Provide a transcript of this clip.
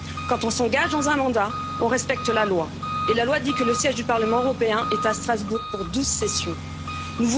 Quand on s'engage dans un mandat, on respecte la loi et la loi dit que le siège du Parlement européen est à Strasbourg pour 12 périodes de sessions.